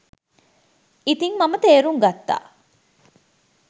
ඉතින් මම තේරුම් ගත්තා